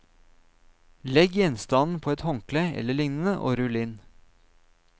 Legg gjenstanden på et håndkle eller lignende og rull inn.